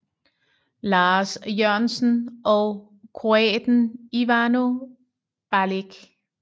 Lars Jørgensen og kroaten Ivano Balić